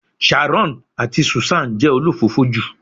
Sharon ati Susan se olofofo ju